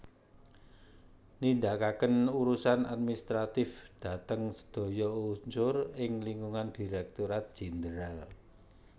Nindakaken urusan administratif dhateng sedaya unsur ing lingkungan Direktorat Jenderal